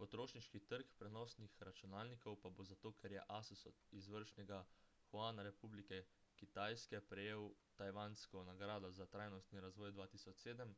potrošniški trg prenosnih računalnikov pa bo zato ker je asus od izvršnega juana republike kitajske prejel tajvansko nagrado za trajnostni razvoj 2007